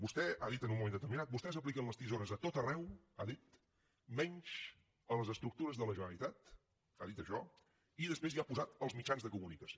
vostè ha dit en un moment determinat vostès apliquen les tisores a tot arreu ha dit menys a les estructures de la generalitat ha dit això i després hi ha posat els mitjans de comunicació